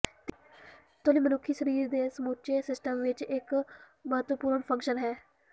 ਤਿੱਲੀ ਮਨੁੱਖੀ ਸਰੀਰ ਦੇ ਸਮੁੱਚੇ ਸਿਸਟਮ ਵਿੱਚ ਇੱਕ ਮਹੱਤਵਪੂਰਨ ਫੰਕਸ਼ਨ ਹੈ